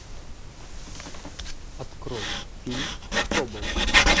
открой фильм тобол